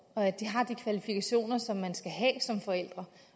og at de har de kvalifikationer som man skal have som forældre